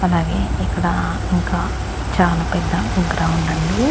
అలాగే ఇక్కడ ఇంకా చానా పెద్ద గ్రౌండ్ అండి.